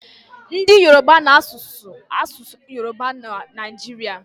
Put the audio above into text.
Ndị yoroba na-asụ asụsụ yoroba n'obodo Naijiria.